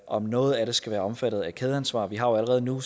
om noget af det skal være omfattet af kædeansvar vi har jo allerede nu